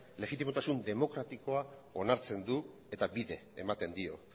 legitimotasun demokratikoa onartzen du eta bide ematen dio